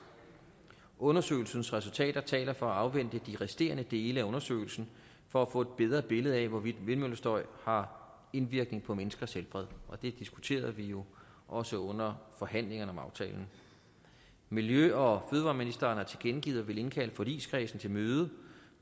undersøgelsens resultater taler for at afvente de resterende dele af undersøgelsen for at få et bedre billede af hvorvidt vindmøllestøj har indvirkning på menneskers helbred det diskuterede vi jo også under forhandlingerne om aftalen miljø og fødevareministeren har tilkendegivet at ville indkalde forligskredsen til møde